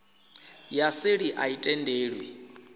ya seli a i tendelwi